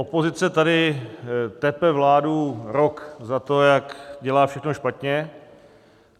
Opozice tady tepe vládu rok za to, jak dělá všechno špatně.